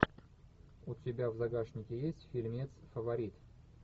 у тебя в загашнике есть фильмец фаворит